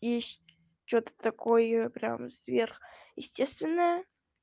и что-то такое прямо сверхъестественное